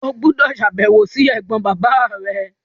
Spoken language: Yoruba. O gbúdọ̀ sàbẹ̀wò si ẹ̀gbọ́n bàbá rẹ!